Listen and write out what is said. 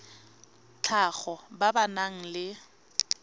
tlhago ba ba nang le